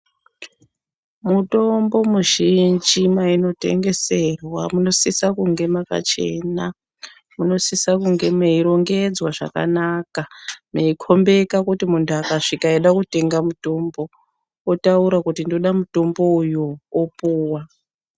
Mitombo mizhinji mainotengeserwa munosisa kunge makachena ,munosisa kunge meirongedzwa zvakanaka ,meikhombeka kuti muntu akasvika eida kutenga mitombo otaura kuti ndoda mitombo uyo, opuwa.